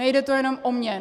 Nejde tu jenom o mě.